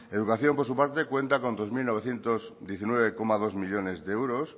educación por su parte cuenta con dos mil novecientos diecinueve coma dos millónes de euros